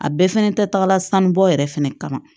A bɛɛ fɛnɛ tɛ taga sanu bɔ yɛrɛ fɛnɛ kama